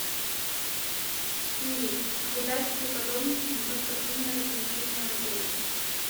сири обладаешь ли ты подробностями про спортивные развлечения в отеле